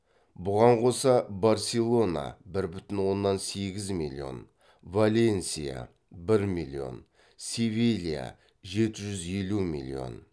бұған қоса барселона валенсия севилия